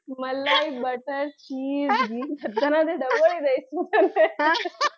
મલાઈ, butter, ખીર, ઘી બધાનાં